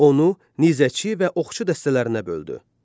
Onu nizəçi və oxçu dəstələrinə böldü.